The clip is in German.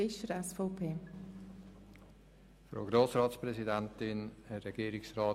Fischer hat als Einzelsprecher das Wort.